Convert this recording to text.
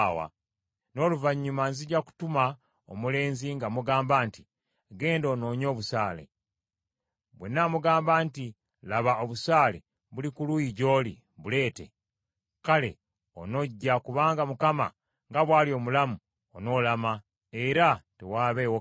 N’oluvannyuma nzija kutuma omulenzi nga mugamba nti, ‘Genda onoonye obusaale.’ Bwe naamugamba nti, ‘Laba, obusaale buli ku luuyi gy’oli, buleete,’ kale onojja, kubanga Mukama nga bw’ali omulamu, onoolama, era tewaabeewo kabi.